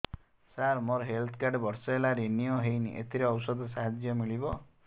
ସାର ମୋର health card ବର୍ଷେ ହେଲା ରିନିଓ ହେଇନି ଏଥିରେ ଔଷଧ ସାହାଯ୍ୟ ମିଳିବ